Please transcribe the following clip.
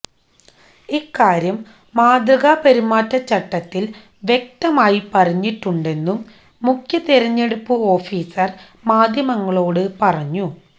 ഇക്കാര്യം മാതൃകാപെരുമാറ്റച്ചട്ടത്തിൽ വ്യക്തമായി പറഞ്ഞിട്ടുണ്ടെന്നും മുഖ്യ തെരഞ്ഞെടുപ്പ് ഒാഫീസർ മാധ്യമങ്ങളോട് പറഞ്ഞു